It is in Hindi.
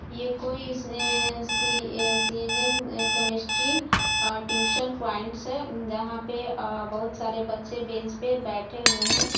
ये कोई सए सीएनम केमिस्ट्री और ट्यूशन पपॉइंट्स जहाँ पे अ बहुत सारे बच्चे बैंच पर बैठे हुए है।